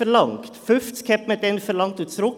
50 verlangte man damals und wies sie zurück.